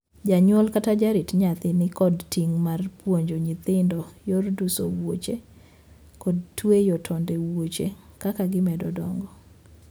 Janyuol kata jarit nyathi ni kod ting' mar puonjo nyithindo yor duso wuoche, kod tueyo tonde wuoche kaka gimedo dongo.